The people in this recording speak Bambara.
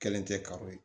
Kɛlen tɛ kari ye